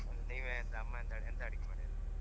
ನೀವ್ ಎಂಥ ಅಮ್ಮ ಎಂತ ಅಡಿಗೆ ಮಾಡಿರ್?